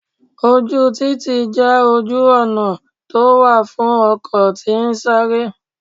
Ojú títì jẹ́ ojú ọ̀nà tó wà fún ọkọ̀ tí ń sáré.